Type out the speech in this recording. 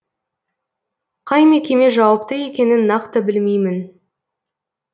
қай мекеме жауапты екенін нақты білмеймін